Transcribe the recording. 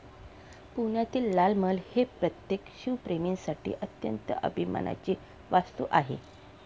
पुण्यातील लाल महाल हे प्रत्येक शिवप्रेमीसाठी अत्यंत अभिमानाची वास्तू आहे.